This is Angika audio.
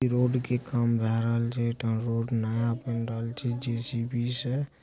इ रोड काम भइल राहिल छे रोड नया बन रहल छे जे.सी.बी. से।